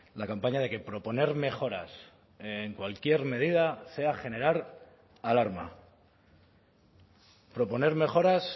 la campaña de que proponer mejoras en cualquier medida sea generar alarma proponer mejoras